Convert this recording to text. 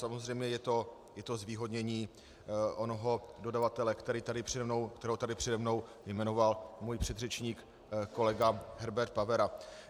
Samozřejmě je to zvýhodnění onoho dodavatele, kterého tady přede mnou jmenoval můj předřečník kolega Herbert Pavera.